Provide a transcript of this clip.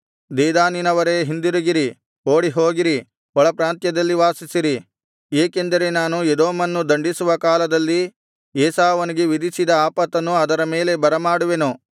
ದೆದಾನಿನವರೇ ಹಿಂದಿರುಗಿರಿ ಓಡಿಹೋಗಿರಿ ಒಳಪ್ರಾಂತ್ಯದಲ್ಲಿ ವಾಸಿಸಿರಿ ಏಕೆಂದರೆ ನಾನು ಎದೋಮನ್ನು ದಂಡಿಸುವ ಕಾಲದಲ್ಲಿ ಏಸಾವನಿಗೆ ವಿಧಿಸಿದ ಆಪತ್ತನ್ನು ಅದರ ಮೇಲೆ ಬರಮಾಡುವೆನು